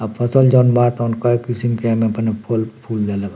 आ फसल जोवन बा तवन कए किसिम के एमे फु फूल देलेबा।